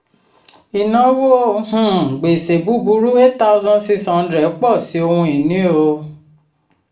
ìnáwó um gbèsè búburú cs] eight thousand six hundred pọ̀ sí ohun ìní. um